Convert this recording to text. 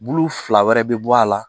Bulu fila wɛrɛ bɛ bɔ a la